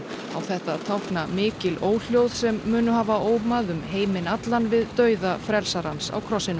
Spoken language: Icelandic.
á þetta að tákna mikil óhljóð sem munu hafa ómað um heiminn allan við dauða frelsarans á krossinum